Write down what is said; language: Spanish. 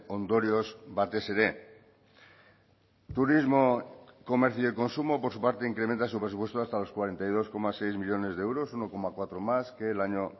ondorioz batez ere turismo comercio y consumo por su parte incrementa su presupuesto hasta los cuarenta y dos coma seis millónes de euros uno coma cuatro más que el año